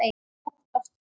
Óttast ei.